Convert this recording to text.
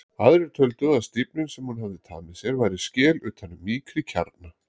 Aðrir töldu að stífnin sem hún hafði tamið sér væri skel utan um mýkri kjarna.